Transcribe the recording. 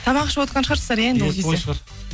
тамақ ішіп отырған шығарсыздар иә